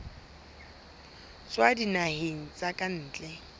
tswa dinaheng tsa ka ntle